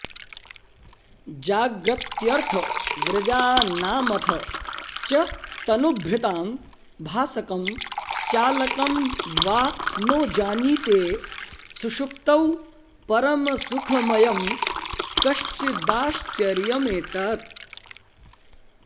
जाग्रत्यर्थव्रजानामथ च तनुभृतां भासकं चालकं वा नो जानीते सुषुप्तौ परमसुखमयं कश्चिदाश्चर्यमेतत्